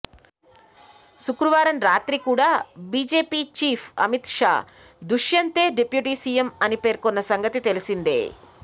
శుక్రవారం రాత్రి కూడా బీజేపీ చీఫ్ అమిత్ షా దుష్యంతే డిప్యూటీ సీఎం అని పేర్కొన్న సంగతి తెలిసిందే